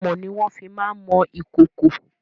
Amọ̀ ni wọ́n fi má ń mọ ìkòkò.